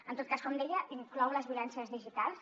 en tot cas com deia inclou les violències digitals